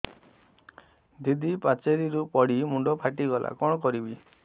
ଦିଦି ପାଚେରୀରୁ ପଡି ମୁଣ୍ଡ ଫାଟିଗଲା କଣ କରିବି